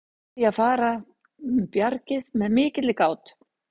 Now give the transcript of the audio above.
Ber því að fara um bjargið með mikilli gát.